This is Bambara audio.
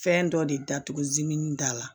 Fɛn dɔ de datuguminin t'a la